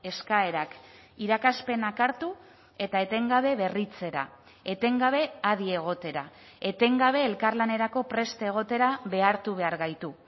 eskaerak irakaspenak hartu eta etengabe berritzera etengabe adi egotera etengabe elkarlanerako prest egotera behartu behar gaitu